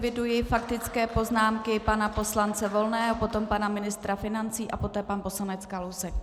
Eviduji faktické poznámky pana poslance Volného, potom pana ministra financí a poté pan poslanec Kalousek.